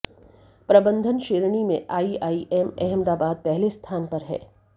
प्रबंधन श्रेणी में आईआईएम अहमदाबाद पहले स्थान पर है